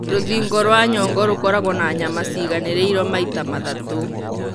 Rũthingo rwa nyongo rũkoragwo na nyama ciiganĩrĩirwo maita mathatũ.